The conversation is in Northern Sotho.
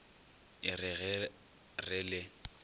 a re ge re le